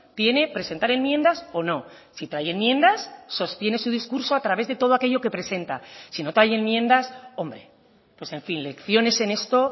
tiene presentar enmiendas o no si trae enmiendas sostiene su discurso a través de todo aquello que presenta si no trae enmiendas hombre pues en fin lecciones en esto